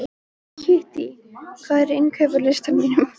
Kittý, hvað er á innkaupalistanum mínum?